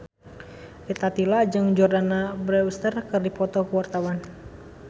Rita Tila jeung Jordana Brewster keur dipoto ku wartawan